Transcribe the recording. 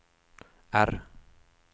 R